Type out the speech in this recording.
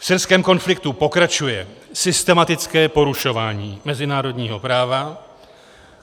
V syrském konfliktu pokračuje systematické porušování mezinárodního práva.